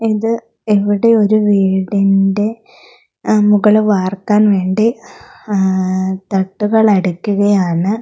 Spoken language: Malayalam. ഇത് ഇവിടെയൊരു വീടിൻ്റെ അം മുകള് വാർക്കാൻ വേണ്ടി ആ തട്ടുകൾ അടിക്കുകയാണ്.